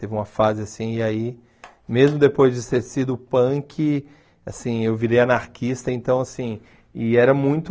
Teve uma fase assim, e aí, mesmo depois de ser sido punk, assim, eu virei anarquista, então, assim, e era muito...